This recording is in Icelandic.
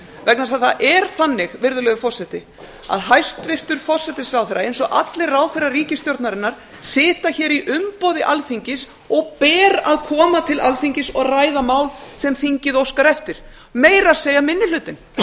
vegna þess að það er þannig virðulegi forseti að hæstvirtur forsætisráðherra eins og allir ráðherrar ríkisstjórnarinnar sitja hér í umboði alþingis og ber að koma til alþingis og ræða mál sem þingið óskar eftir meira að segja minni hlutinn